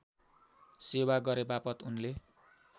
सेवा गरेबापत उनले